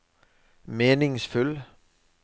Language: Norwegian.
meningsfull